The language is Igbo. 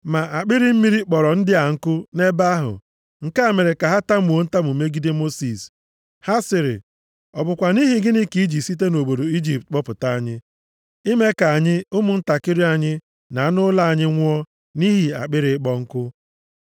Ma akpịrị mmiri kpọrọ ndị a nkụ nʼebe ahụ, nke a mere ka ha tamuo ntamu megide Mosis. Ha sịrị, “Ọ bụkwa nʼihi gịnị ka i ji site nʼobodo Ijipt kpọpụta anyị, ime ka anyị, ụmụntakịrị anyị na anụ ụlọ anyị nwụọ nʼihi akpịrị ịkpọ nkụ?”